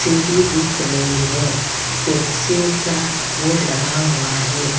सीढ़ी दिख रही है पेप्सी का बोर्ड लगा हुआ है।